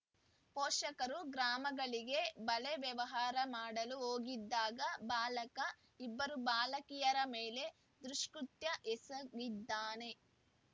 ಪೋಷಕರು ಗ್ರಾಮಗಳಿಗೆ ಬಳೆ ವ್ಯಾಪಾರ ಮಾಡಲು ಹೋಗಿದ್ದಾಗ ಬಾಲಕ ಇಬ್ಬರು ಬಾಲಕಿಯರ ಮೇಲೆ ದುಷ್ಕೃತ್ಯ ಎಸಗಿದ್ದಾನೆ